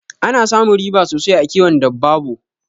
Ana samun riba sosai a kiwon dabbabo